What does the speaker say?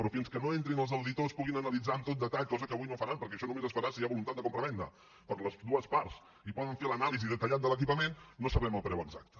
però fins que no entrin els auditors puguin analitzar amb tot detall cosa que avui no faran perquè això només es farà si hi ha voluntat de compravenda per les dues parts i poden fer l’anàlisi detallada de l’equipament no sabem el preu exacte